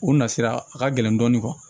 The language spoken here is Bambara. U na sira a ka gɛlɛn dɔɔnin